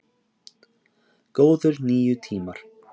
Góðir níu tímar!